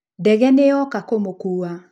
Ndege nĩnyoka kũmũkuwa.